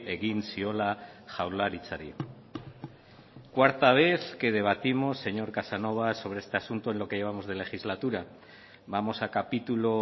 egin ziola jaurlaritzari cuarta vez que debatimos señor casanova sobre este asunto en lo que llevamos de legislatura vamos a capítulo